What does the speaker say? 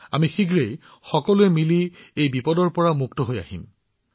আমি শীঘ্ৰেই এই দুৰ্যোগৰ পৰা ওলাই আহিবলৈ সক্ষম হম